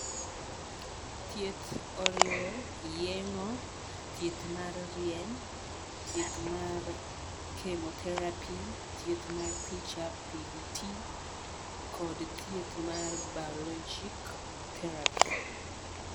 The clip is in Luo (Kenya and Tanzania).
Thieth oriwo yeng'o, thieth mar rieny, thieth mar chemotherapy. thietth mar picha (PDT) kod thieth mar biologic therapy.